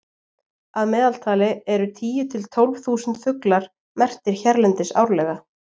að meðaltali eru tíu til tólf þúsund fuglar merktir hérlendis árlega